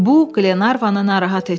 Bu Qlenarvanı narahat etdi.